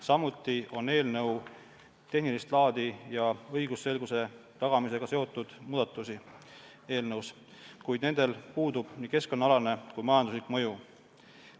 Samuti näeb eelnõu ette tehnilist laadi ja õigusselguse tagamisega seotud muudatusi, kuid nendel puudub nii keskkonnaalane kui majanduslik mõju.